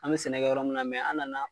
An bɛ sɛnɛ kɛ yɔrɔ min na mɛ an nana'